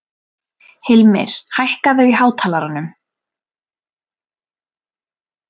Hilmir, hækkaðu í hátalaranum.